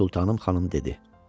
Sultanım xanım dedi.